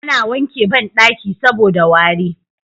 A na wanke banɗaki saboda wari